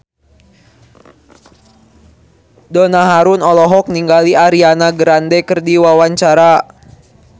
Donna Harun olohok ningali Ariana Grande keur diwawancara